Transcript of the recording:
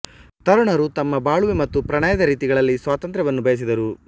ತರುಣರು ತಮ್ಮ ಬಾಳುವೆ ಮತ್ತು ಪ್ರಣಯದ ರೀತಿಗಳಲ್ಲಿ ಸ್ವಾತಂತ್ರ್ಯವನ್ನು ಬಯಸಿದರು